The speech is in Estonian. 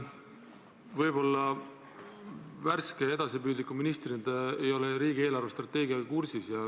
Võib-olla värske ja edasipüüdliku ministrina ei ole te riigi eelarvestrateegiaga kursis.